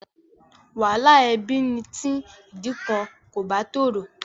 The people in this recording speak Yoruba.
Wàhálà ẹbí ni tí ìdí kan kò bá tòrò.